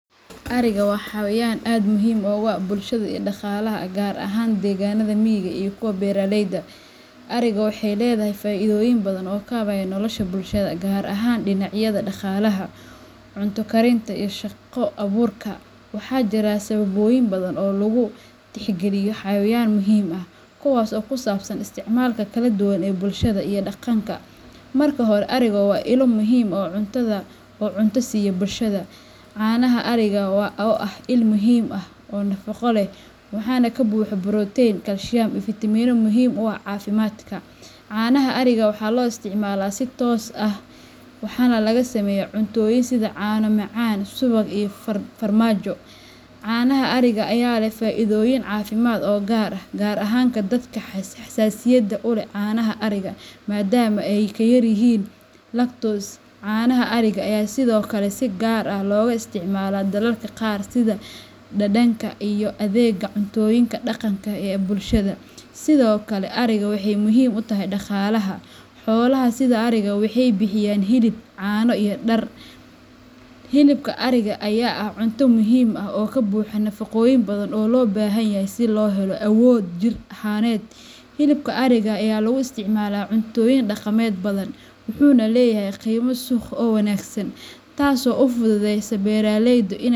Ariga waa xayawaan aad muhiim ugu ah bulshada iyo dhaqaalaha, gaar ahaan deegaannada miyiga iyo kuwa beeraleyda. Ariga waxay leedahay faa'iidooyin badan oo kaabaya nolosha bulshada, gaar ahaan dhinacyada dhaqaalaha, cunto karinta, iyo shaqo abuurka. Waxaa jira sababoyin badan oo ariga loogu tixgeliyo xayawaan muhiim ah, kuwaas oo ku saabsan isticmaalka kaladuwan ee bulshada iyo dhaqanka. Marka hore, ariga waa ilo muhiim ah oo cunto siiya bulshada. Caanaha ariga ayaa ah il muhiim ah oo nafaqo leh, waxaana ka buuxa borotiin, kalsiyum, iyo fitamiinno muhiim u ah caafimaadka. Caanaha ariga waxaa loo isticmaalaa si toos ah ama waxaa laga sameeyaa cuntooyin sida caano macaan, subag, iyo farmaajo. Caanaha ariga ayaa leh faa'iidooyin caafimaad oo gaar ah, gaar ahaan dadka xasaasiyadda u leh caanaha ariga, maadaama ay ka yaryihiin lactose. Caanaha ariga ayaa sidoo kale si gaar ah looga isticmaalaa dalalka qaar sida dhadhanka iyo adeegga cuntooyinka dhaqanka ee bulshada. Sidoo kale, ariga waxay muhiim u tahay dhaqaalaha. Xoolaha sida ariga waxay bixiyaan hilib, caano, iyo dhar. Hilibka ariga ayaa ah cunto muhiim ah oo ka buuxa nafaqooyin badan oo loo baahan yahay si loo helo awood jir ahaaneed. Hilibka ariga ayaa lagu isticmaalaa cuntooyin dhaqameed badan, wuxuuna leeyahay qiimo suuq oo wanaagsan, taasoo u fududeysa beeraleyda in ay.